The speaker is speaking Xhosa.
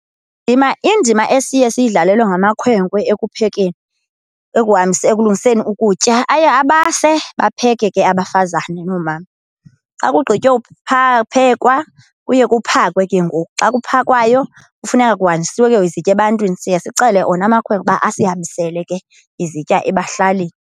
Indima esiye siyidlalelwe ngamakhwenkwe ekuphekeni, ekulungiseni ukutya, aye abase bapheke ke abafazana noomama. Xa kugqitywa phekwa kuye kuphakwe ke ngoku. Xa kuphakwayo kufuneka kuhanjisiwe ke ngoku izitya ebantwini, siye sicele ona amakhwenkwe uba asihambisele ke izitya ebahlalini.